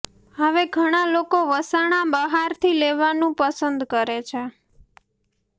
હવે ઘણા લોકો વસાણા બહારથી લેવાનું પસંદ કરે છે